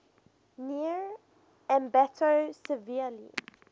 near ambato severely